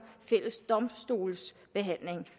fælles domstolsbehandling